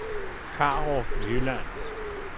Karup Jylland